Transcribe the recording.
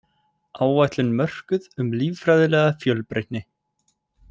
Áætlun mörkuð um líffræðilega fjölbreytni